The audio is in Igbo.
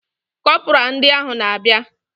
Kọpura ndị ahụ na abia